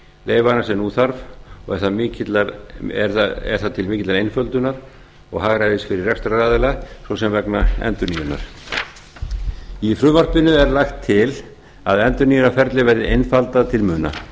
leyfanna sem nú þarf og er það til mikillar einföldunar og hagræðis fyrir rekstraraðila svo sem vegna endurnýjunar í frumvarpinu er lagt til að endurnýjunarferlið verði einfaldað til muna felst